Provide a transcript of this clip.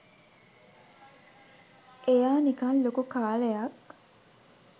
එයා නිකං ලොකු කාලයක්